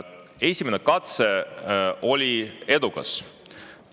Esimene katse selles oli edukas.